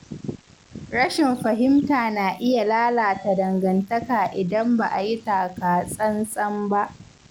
Rashin fahimta na iya lalata dangantaka idan ba a yi taka tsantsan ba.